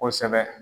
Kosɛbɛ